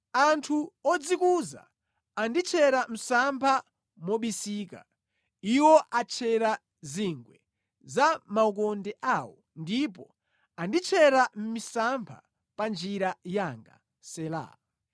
Anthu odzikuza anditchera msampha mobisika; iwo atchera zingwe za maukonde awo ndipo anditchera misampha pa njira yanga. Sela